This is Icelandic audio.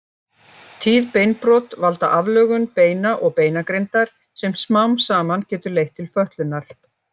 Tíð beinbrot valda aflögun beina og beinagrindar sem smám saman getur leitt til fötlunar.